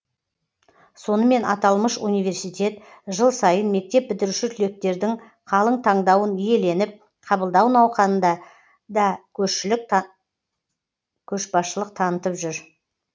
сонымен аталмыш университет жыл сайын мектеп бітіруші түлектердің қалың таңдауын иеленіп қабылдау науқанында да көшбасшылық танытып жүр